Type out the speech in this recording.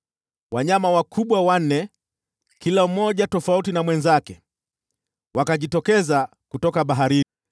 Wanyama wanne wakubwa, kila mmoja tofauti na mwenzake, wakajitokeza kutoka bahari.